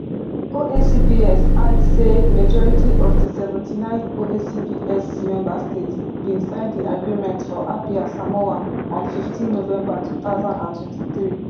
oacps add say majority of di seventy-nine oacps member states bin sign di agreement for apia samoa on fifteen november two thousand and twenty-three